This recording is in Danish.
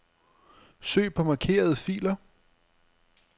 Søg på markerede filer.